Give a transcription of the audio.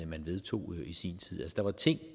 man vedtog i sin tid der var ting